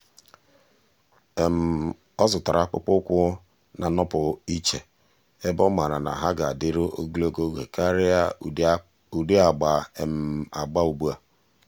ọ́ zụ̀tárà akpụkpọ́ụkwụ́ nà-ànọ́pụ́ ìchè ebe ọ́ màrà na há ga-adị́rụ́ ogologo oge kàrị́a ụ́dị́ agba agba ugbu a.